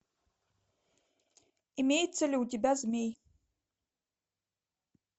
имеется ли у тебя змей